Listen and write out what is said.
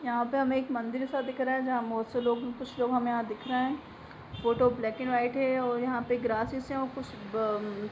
यहां पे हमे एक मन्दिर सा दिख रहा है जहां बहुत से लोग- कुछ लोग हमे यहां दिख रहे हैं फोटो ब्लैक एंड व्हाइट है और यहां पे ग्रासेस है और कुछ ब-अ-म--